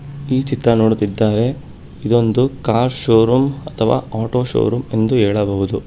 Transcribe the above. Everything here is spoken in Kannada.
ಈ ಚಿತ್ರ ನೋಡುತ್ತಿದ್ದಾರೆ ಇದೊಂದು ಕಾರ್ ಶೋ ರೂಮ್ ಅಥವಾ ಆಟೋ ಶೋ ರೂಮ್ ಎಂದು ಹೇಳಬಹುದು.